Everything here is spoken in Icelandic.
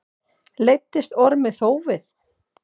Leiddist Ormi þófið.